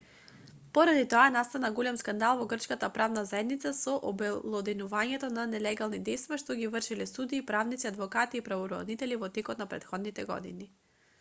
поради тоа настана голем скандал во грчката правна заедница со обелоденувањето на нелегалните дејства што ги вршеле судии правници адвокати и правобранители во текот не претходните години